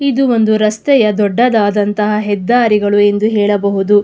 ಇದು ಒಂದು ರಸ್ತೆಯ ದೊಡ್ಡದಾದಂಥ ಹೆದ್ದಾರಿಗಳು ಎಂದು ಹೇಳಬಹುದು.